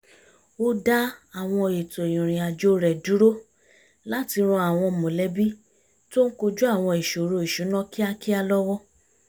ó dá àwọn ètò ìrìn àjò rẹ̀ dúró láti ran àwọn mọ̀lẹ́bí tó ń kojú àwọn ìṣoro ìṣúná kíákíá lọ́wọ́